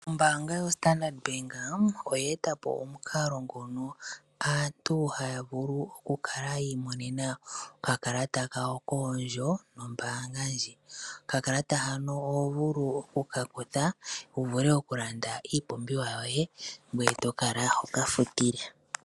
Ombanga yo Standard Bank oye etapo omukalo ngono aantu haya vulu okukala yimo nenena okakalata kawo koondjo dhombanga ndji , Okakalata hano oho vulu okukakutha wuvule okulanda iipumbiwa yoye ngweye tokala hoka futile.